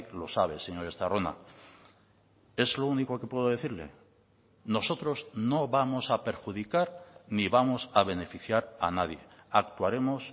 lo sabe señor estarrona es lo único que puedo decirle nosotros no vamos a perjudicar ni vamos a beneficiar a nadie actuaremos